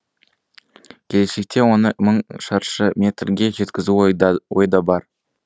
келешекте оны мың шаршы метрге жеткізу ойда бар